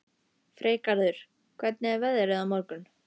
Freygarður, hvernig er veðrið á morgun?